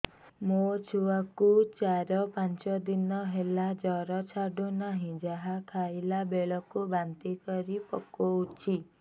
ମୋ ଛୁଆ କୁ ଚାର ପାଞ୍ଚ ଦିନ ହେଲା ଜର ଛାଡୁ ନାହିଁ ଯାହା ଖାଇଲା ବେଳକୁ ବାନ୍ତି କରି ପକଉଛି